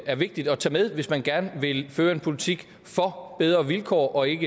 er vigtigt at tage med hvis man gerne vil føre en politik for bedre vilkår og ikke